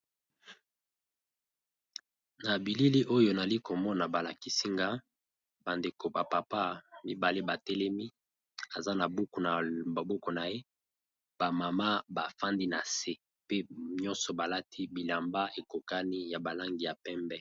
Na bilili oyo nazalikomona balakisinga bandeko ba papa mibale batelemi baza na buku na maboko naye ba maman bafandi nase pe balati bilamba ekokani ya balangi ya pembe.